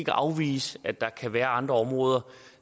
afvise at der kan være andre områder